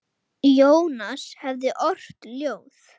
Jónas hefði ort ljóð.